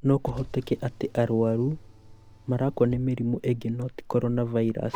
no kũhoteke atĩ arũaru marakua nĩ mĩrimũ ĩngĩ no ti corona virus